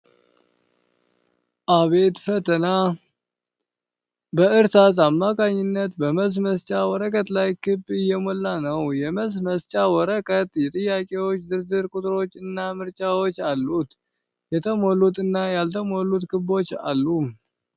አቤት ፈተና! እጅ በእርሳስ አማካኝነት በመልስ መስጫ ወረቀት ላይ ክብ እየሞላ ነው። የመልስ መስጫው ወረቀት የጥያቄዎች ዝርዝር ቁጥሮች እና ምርጫዎች አሉት። የተሞሉት እና ያልተሞሉት ክቦች አሉ።